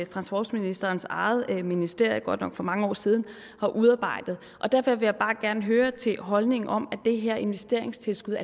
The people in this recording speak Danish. transportministerens eget ministerium godt nok for mange år siden har udarbejdet derfor vil jeg bare gerne høre til holdningen om at det her investeringstilskud